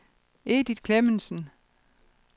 Edith Klemmensen